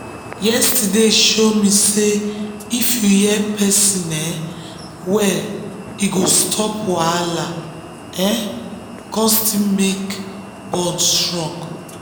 yesterday show me say if you hear person um well e go stop wahala um kon still make bond strong.